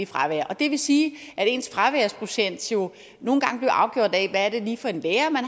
fravær og det vil sige at ens fraværsprocent nogle gange blev afgjort af hvilken lærer man